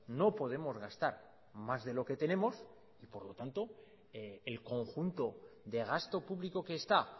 no podemos gastar más de lo que tenemos y por lo tanto el conjunto de gasto público que está